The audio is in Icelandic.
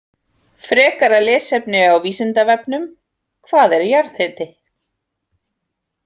Frekara lesefni á Vísindavefnum: Hvað er jarðhiti?